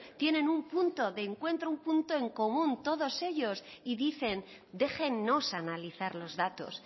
tienen un punto de encuentro un punto en común todos ellos y dicen déjennos analizar los datos